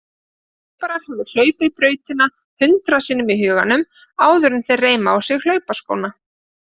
Hlauparar hafa hlaupið brautina hundrað sinnum í huganum áður en þeir reima á sig hlaupaskóna.